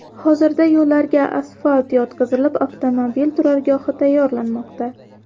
Hozirda yo‘llarga asfalt yotqizilib, avtomobil turargohi tayyorlanmoqda.